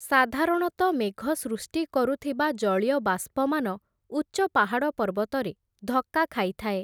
ସାଧାରଣତ ମେଘ ସୃଷ୍ଟି କରୁଥିବା ଜଳୀୟବାଷ୍ପମାନ, ଉଚ୍ଚ ପାହାଡ଼ ପର୍ବତରେ ଧକ୍କା ଖାଇଥାଏ ।